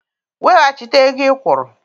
Weghachite ego ị kwụrụ!